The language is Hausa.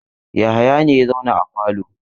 Yahaya ne ya zauna a falo.